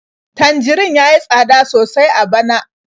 Tanjarin ya yi tsada sosai a bana.